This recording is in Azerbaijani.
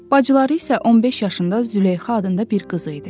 Bacıları isə 15 yaşında Züleyxa adında bir qız idi.